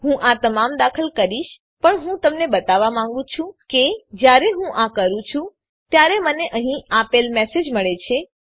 હું આ તમામ દાખલ કરીશ પણ હું તમને બતાવવા માંગું છું કે જયારે હું આ કરું છું ત્યારે મને અહીં આપેલ મેસેજ મળે છે